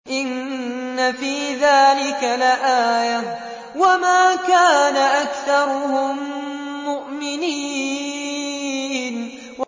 إِنَّ فِي ذَٰلِكَ لَآيَةً ۖ وَمَا كَانَ أَكْثَرُهُم مُّؤْمِنِينَ